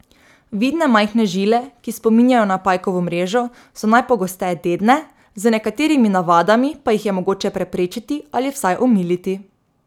Vidne majhne žile, ki spominjajo na pajkovo mrežo, so najpogosteje dedne, z nekaterimi navadami pa jih je mogoče preprečiti ali vsaj omiliti.